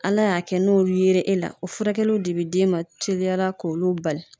Ala y'a kɛ n'o yera e la o furakɛliw de bɛ d'e ma teliyara k'olu bali.